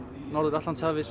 Norður Atlantshafi